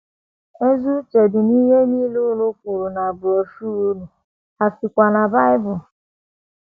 Ezi uche dị n’ihe nile unu kwuru na broshuọ unu, ha sikwa na Bible. ”